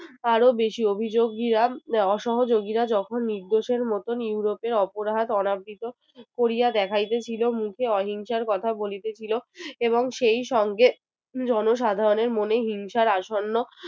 আরও বেশি অভিযোগীরা অসহযোগীরা যখন নির্দোষের মতো ইউরোপের অপরাধ অনাবৃত কোরিয়া দেখাইতেছিলো মুখে অহিংসার কথা বলিতেছিল এবং সেই সঙ্গে জনসাধারণের মনে হিংসার আসন্ন